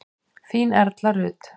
Þín Erla Rut.